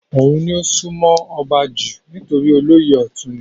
òun ni ó sún mọ́ ọba jù nítorí olóyè ọ̀tún ni